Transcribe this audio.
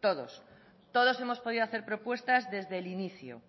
todos todos hemos podido hacer propuestas desde el inicio